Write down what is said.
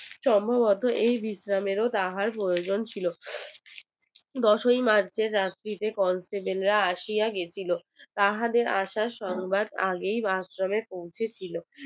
সম্ভবত এই বিশ্রামের ও তাহার প্রয়োজন ছিল দোষই march সেই রাত্রে কল সেজান রা আসিয়া গিয়েছিলো তাহাদের আসার সন্ধ্যার আগেই আশ্রমে পৌঁছে গিয়েছিলো